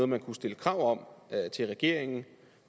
man kunne stille krav om til regeringen